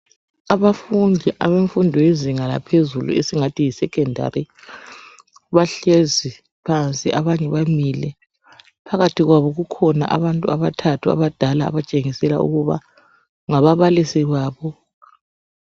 Abafundi abemfundo yezinga laphezulu esingathi yisecondary bahlezi phansi abanye bamile. Phakathi kwabo kukhona abantu abathathu abadala abatshengisela ukuba ngababalisi babo.